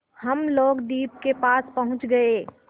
हम लोग द्वीप के पास पहुँच गए